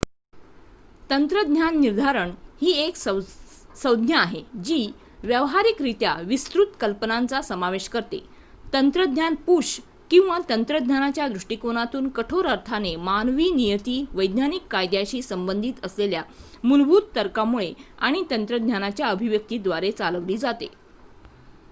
तंत्रज्ञान निर्धारण ही एक संज्ञा आहे जी व्यावहारिकरित्या विस्तृत कल्पनांचा समावेश करते तंत्रज्ञान-पुश किंवा तंत्रज्ञानाच्या दृष्टीकोनातून कठोर अर्थाने मानवी नियती वैज्ञानिक कायद्यांशी संबंधित असलेल्या मूलभूत तर्कामुळे आणि तंत्रज्ञानाच्या अभिव्यक्तीद्वारे चालवली जाते